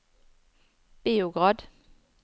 Beograd